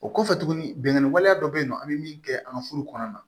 O kɔfɛ tuguni binkanni waleya dɔ bɛ yen nɔ an bɛ min kɛ an ka furu kɔnɔna na